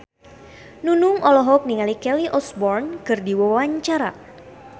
Nunung olohok ningali Kelly Osbourne keur diwawancara